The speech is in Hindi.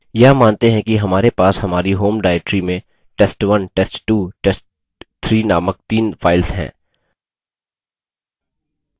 हम मानते हैं कि हमारे पास हमारी home directory में test1 test2 test3 named तीन files हैं